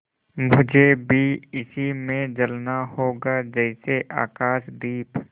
मुझे भी इसी में जलना होगा जैसे आकाशदीप